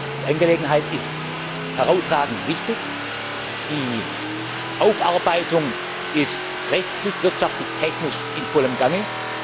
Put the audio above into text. Die Angelegenheit ist herausragend wichtig, die Aufarbeitung ist rechtlich, wirtschaftlich und technisch in vollem Gange.